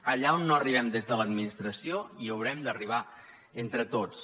allà on no arribem des de l’administració hi haurem d’arribar entre tots